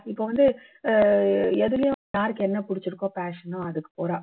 இப்போ வந்து அஹ் எதுலயும் யாருக்கு என்ன புடிச்சுருக்கோ passion ஓ அதுக்கு போறா